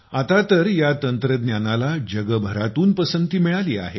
आतातर या तंत्रज्ञानाला जगभरातून पसंती मिळाली आहे